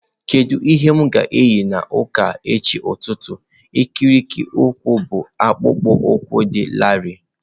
Kedu ihe m ga-eyi na ụka echi ụtụtụ ikiri ụkwụ bụ akpụkpọ ụkwụ dị larịị?